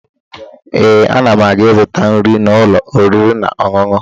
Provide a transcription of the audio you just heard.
Ee, ana m aga ịzụta nri n'ụlọ oriri na ọṅụṅụ